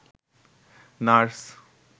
nurse